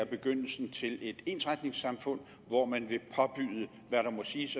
begyndelsen til et ensretningssamfund hvor man vil påbyde hvad der må siges